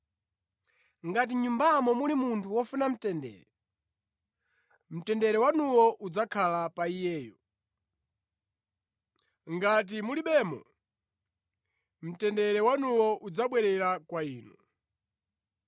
Ngati mʼnyumbamo muli munthu wofuna mtendere, mtendere wanuwo udzakhala pa iyeyo; ngati mulibemo, mtendere wanuwo udzabwerera kwa inu.